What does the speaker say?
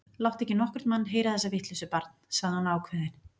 Láttu ekki nokkurn mann heyra þessa vitleysu, barn sagði hún ákveðin.